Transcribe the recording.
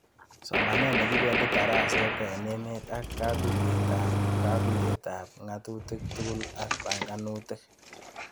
Somanet nemakipendi dareset eng' emet ak kakuyet ab kakuyet ab ngatutik tugul ak panganutik